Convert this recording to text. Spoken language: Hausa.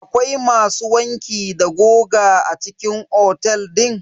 Akwai masu wanki da goga a cikin otel din?